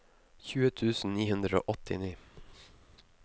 tjue tusen ni hundre og åttini